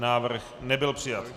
Návrh nebyl přijat.